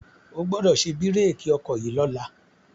O gbọ́dọ̀ ṣe bírèkì ọkọ̀ yìí lọ́la.